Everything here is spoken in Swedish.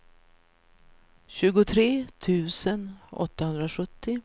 tjugotre tusen åttahundrasjuttio